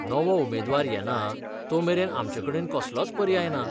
नवो उमेदवार येना, तो मेरेन आमचेकडेन कसलोच पर्याय ना.